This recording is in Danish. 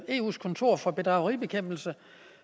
eus kontor for bedrageribekæmpelse